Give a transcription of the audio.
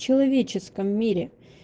человеческом мире